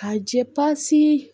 Ka jɛ pasi